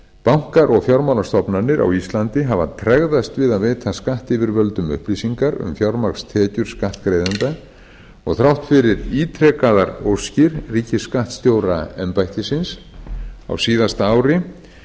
bankar og fjármálastofnanir á íslandi hafa tregðast við að veita skattyfirvöldum upplýsingar um fjármagnstekjur skattgreiðenda og þrátt fyrir ítrekaðar óskir ríkisskattstjóraembættisins á síðasta ári